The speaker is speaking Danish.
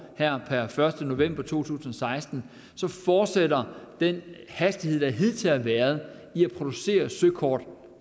her per første november to tusind og seksten fortsætter den hastighed der hidtil har været i at producere søkort